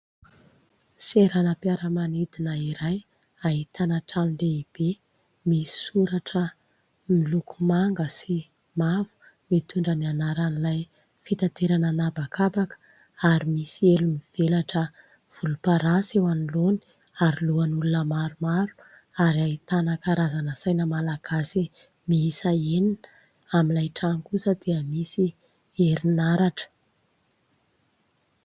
Seranam-piaramanidina iray ahitana trano lehibe misy misoratra, miloko manga sy mavo, mitondra ny anaran'ilay fitaterana an-habakabaka ary misy elo mivelatra volomparasy eo anoloany ary lohan'olona maromaro ary ahitana karazana saina Malagasy miisa enina. Amin'ilay trano kosa dia misy herinaratra.